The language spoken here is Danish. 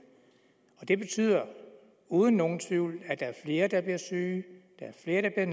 og det betyder uden nogen tvivl at der er flere der bliver syge at der er